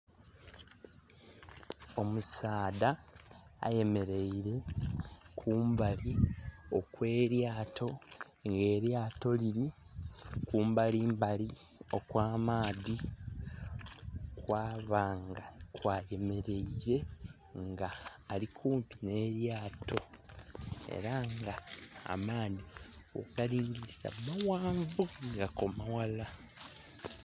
Omusadha ayemeleire kumbali okwelyaato nga elyaato liri kumbalimbali okwa maadhi kwaba nga kwayemeleire nga ari kumpi n'elyaato era nga amaadhi wogalingilira maghanvu gakoma ghala .